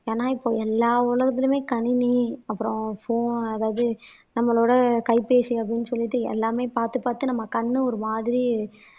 ஏன்னா இப்ப எல்லா உலகத்துலயுமே கணினி அப்புறம் போ அதாவது நம்மளோட கைபேசி அப்படீன்னு சொல்லிட்டு எல்லாமே பார்த்து பார்த்து நம்ம கண்ணு ஒரு மாதிரி